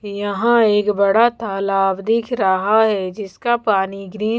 यहाँ एक बड़ा तालाब दिख रहा है जिसका पानी ग्रीन --